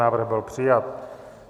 Návrh byl přijat.